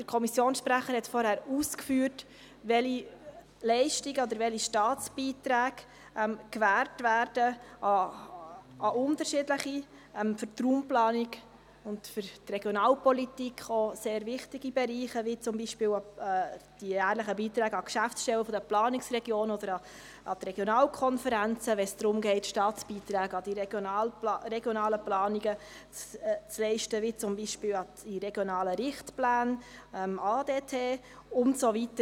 Der Kommissionssprecher hat vorhin ausgeführt, welche Leistungen oder welche Staatsbeiträge an unterschiedliche, für die Raumplanung und für die Regionalpolitik auch sehr wichtige Bereiche gewährt werden, wie beispielsweise die jährlichen Beiträge an die Geschäftsstellen der Planungsregionen oder an die Regionalkonferenzen, wenn es darum geht, Staatsbeiträge an die regionalen Planungen zu leisten, wie beispielsweise an die regionalen Richtpläne, ADT und so weiter.